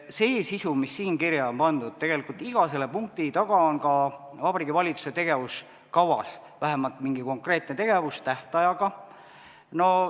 See sisu, mis siia kirja on pandud – tegelikult on iga selle punkti taga Vabariigi Valitsuse tegevuskavas vähemalt mingi konkreetne tegevus tähtajaga.